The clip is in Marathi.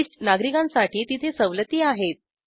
ज्येष्ठ नागरिकांसाठी तिथे सवलती आहेत